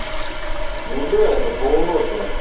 ну да это полу ношенная